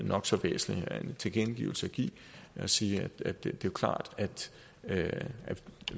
nok så væsentlig en tilkendegivelse at give at sige at det er klart at